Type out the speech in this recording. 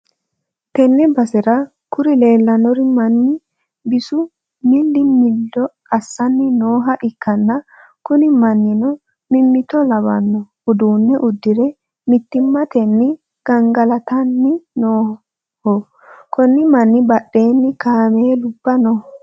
tenne basera kuri leellanno manni bisu milli-millo assanni nooha ikkanna, kuni mannino mimmitto labbanno uddano uddire mittimmatenni gangalatanni nooho, konni manni badheenni kaameelubba no.